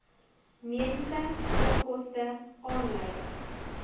mediese onkoste aanleiding